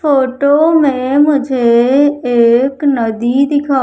photo में मुझे एक नदी दिखा--